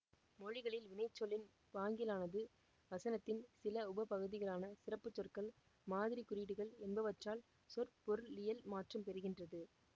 மொழிகளில் வினைச்சொல்லின் பாங்கியலானது வசனத்தின் சில உப பகுதிகளான சிறப்பு சொற்கள் மாதிரி குறியீடுகள் என்பவற்றால் சொற்பொருளியல் மாற்றம் பெறுகின்றது